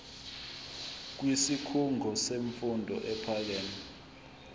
kwisikhungo semfundo ephakeme